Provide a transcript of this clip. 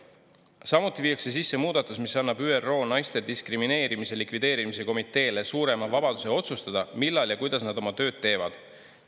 Samuti viiakse sisse muudatus, mis annab ÜRO naiste diskrimineerimise likvideerimise komiteele suurema vabaduse otsustada, millal ja kuidas nad oma tööd teevad.